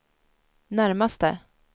närmaste